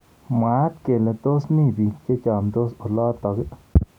Mwaat kele tos mi bik chemnyandos olotok.